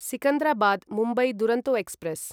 Secunderabad Mumbai Duronto express